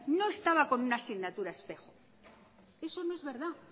no estaba como una asignatura espejo eso no es verdad